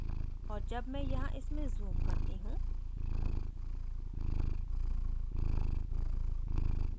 और जब मैं यहाँ इसमें zoom करती हूँ